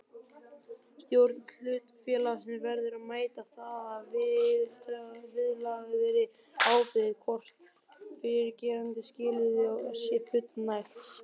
Stjórn hlutafélags verður að meta það að viðlagðri ábyrgð hvort fyrrgreindum skilyrðum sé fullnægt.